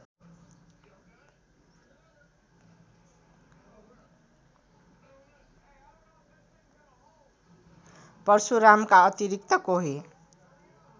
परशुरामका अतिरिक्त कोही